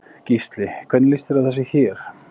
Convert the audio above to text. Gísli: Hvernig líst þér á þessi hér?